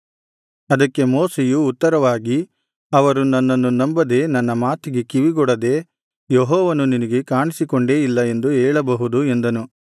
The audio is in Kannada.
ಅದಕ್ಕೆ ಮೋಶೆಯು ಉತ್ತರವಾಗಿ ಅವರು ನನ್ನನ್ನು ನಂಬದೆ ನನ್ನ ಮಾತಿಗೆ ಕಿವಿಗೊಡದೆ ಯೆಹೋವನು ನಿನಗೆ ಕಾಣಿಸಿಕೊಂಡೇ ಇಲ್ಲ ಎಂದು ಹೇಳಬಹುದು ಎಂದನು